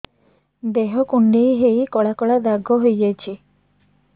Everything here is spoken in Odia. ଦେହ କୁଣ୍ଡେଇ ହେଇ କଳା କଳା ଦାଗ ହେଇଯାଉଛି